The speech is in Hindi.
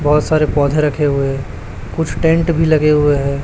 बहुत सारे पौधे रखे हुए कुछ टेंट भी लगे हुए हैं।